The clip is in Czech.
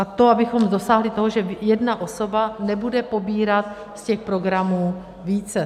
A to, abychom dosáhli toho, že jedna osoba nebude pobírat z těch programů více.